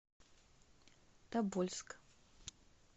тобольск